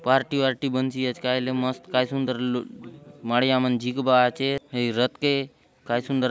पार्टी वार्टी बनसी आचे कायले मस्त काय सुन्दर माडिया मन झिकबा आचेत हय रथ के काय सुंदर --